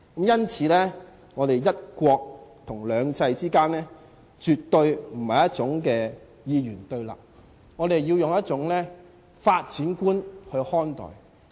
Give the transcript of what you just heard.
因此，"一國"和"兩制"之間絕對不是二元對立的，我們要以一種發展觀看待。